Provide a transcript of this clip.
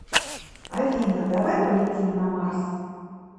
афина давай полетим на марс